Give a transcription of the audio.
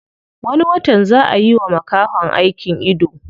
Wani watan zaa a yiwa makahon aikin ido.